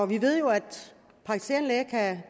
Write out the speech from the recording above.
vi ved jo at de praktiserende læger